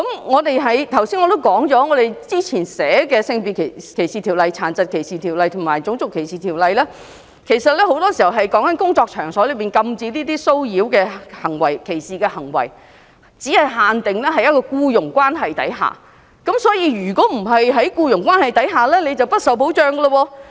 我剛才提到，現行的《性別歧視條例》、《殘疾歧視條例》及《種族歧視條例》訂明關於在工作場所禁止這些騷擾和歧視的行為，但很多時候只限定在僱傭關係下，所以，如果不是在僱傭關係下便不受保障。